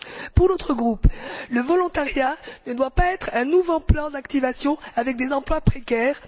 Pour notre groupe, le volontariat ne doit pas être un nouveau plan d'activation avec des emplois précaires.